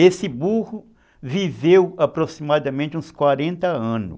Esse burro viveu aproximadamente uns quarenta anos.